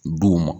Duw ma